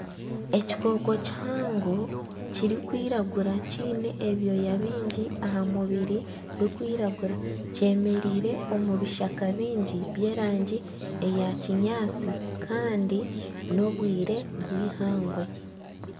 Ekikooko kihango kirikwiragura kiine ebyoya kiine ebyoya bingi aha mubiri birikwiragura kyemereire omu bishaka bingi by'erangi eya kinyaatsi kandi n'obwire obwihangwe